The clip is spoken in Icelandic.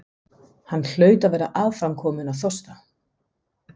Hann hlaut að vera aðframkominn af þorsta.